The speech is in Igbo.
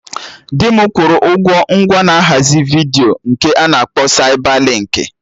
Di m kwụrụ ụgwọ ngwa na ahazi vidiyo nke a na-akpọ Saibalinkị